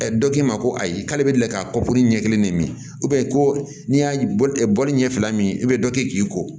dɔ k'i ma ko ayi k'ale bɛ lakari ɲɛ kelen ne min ko n'i y'a bɔli ɲɛ fila min i bɛ dɔ kɛ k'i ko